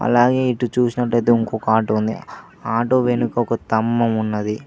అలాగే ఇటు చూసినట్లయితే ఇంకో ఆటో ఉంది ఆ ఆటో వెనుక ఒక తంభం ఉన్నది.